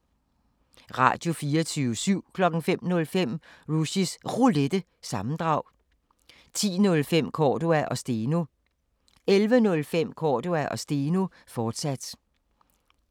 Radio24syv